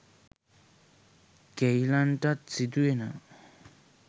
කෙයිලන්ටත් සිදුවෙනවා.